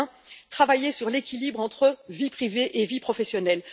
et, enfin, travailler sur l'équilibre entre vie privée et vie professionnelle.